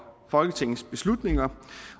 folketingets beslutninger